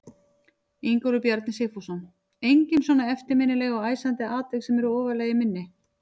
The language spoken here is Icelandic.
Ingólfur Bjarni Sigfússon: Engin svona eftirminnileg og æsandi atvik sem að eru ofarlega í minni?